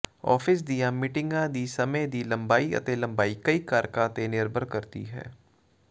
office ਦੀਆਂ ਮੀਟਿੰਗਾਂ ਦੀ ਸਮੇਂ ਦੀ ਲੰਬਾਈ ਅਤੇ ਲੰਬਾਈ ਕਈ ਕਾਰਕਾਂ ਤੇ ਨਿਰਭਰ ਕਰਦੀ ਹੈ